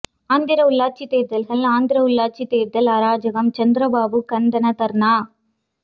ஆந்திர உள்ளாட்சித் தேர்தல்கள் ஆந்திர உள்ளாட்சித் தேர்தல் அராஜகம் சந்திரபாபு கந்தனா தர்ணா